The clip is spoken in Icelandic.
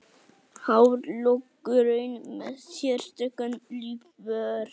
Hárlokkurinn með sérstakan lífvörð